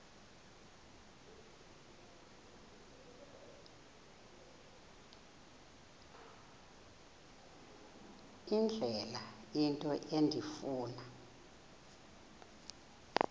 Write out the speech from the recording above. indlela into endifuna